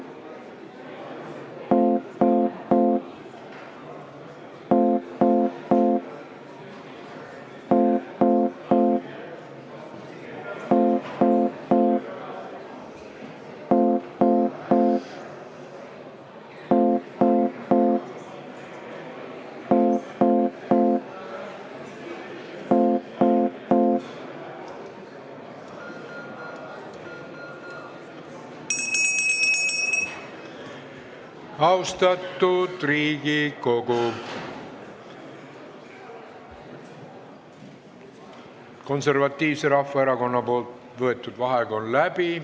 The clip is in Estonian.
Austatud Riigikogu, Konservatiivse Rahvaerakonna võetud vaheaeg on läbi.